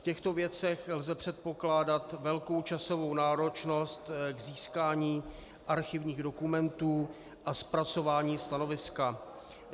V těchto věcech lze předpokládat velkou časovou náročnost k získání archivních dokumentů a zpracování stanoviska.